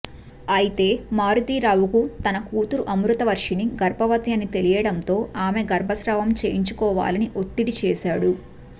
అయితే మారుతీరావుకు తన కూతురు అమృతవర్షిణి గర్భవతి అని తెలియడంతో ఆమె గర్భస్రావం చేయించుకోవాలని ఒత్తిడి చేశాడు